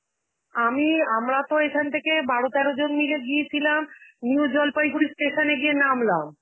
আমি~ আমরাতো এখান থেকে বারো তেরো জন মিলে গিয়েছিলাম, new জলপাইগুড়ির station এ গিয়ে নামলাম.